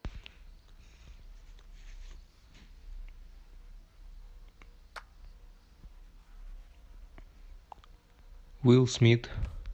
уилл смит